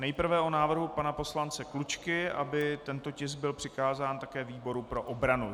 Nejprve o návrhu pana poslance Klučky, aby tento tisk byl přikázán také výboru pro obranu.